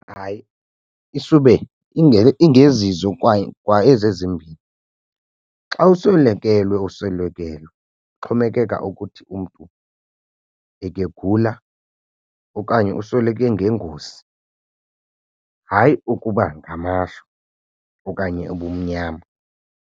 Hayi isube ingezizo kwa ezi ezimbini. Xa uswelekelwe uswelekelwe ixhomekeka ukuthi umntu ekegula okanye usweleke ngengozi, hayi ukuba ngamashwa okanye ubumnyama.